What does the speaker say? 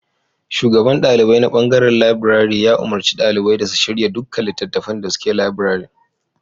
Shugaban ɗalibai na ɓangaren labirari ya umarci ɗalibai da su shirya duka littattafan da suke labirarin.